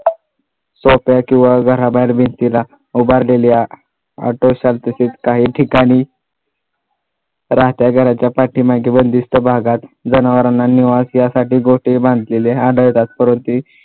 जोते किंवा घराबाहेर भिंतीला उभारलेल्या काही ठिकाणी राहत्या घराच्या पाठीमागे बंदिस्त भागात जनावरांना निवास यासाठी गोठे बांधलेले आढळतात